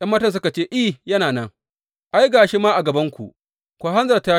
’Yan matan suka ce, I, yana nan, ai, ga shi ma a gabanku, ku hanzarta.